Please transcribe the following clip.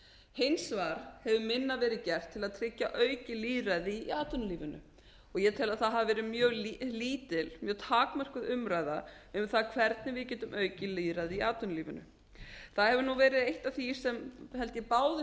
hins vegar hefur minna verið gert til að tryggja aukið lýðræði í atvinnulífinu og ég tel að það hafi verið mjög takmörkuð umræða um það hvernig við getum aukið lýðræði í atvinnulífinu það hefur verið eitt af því sem held ég báðir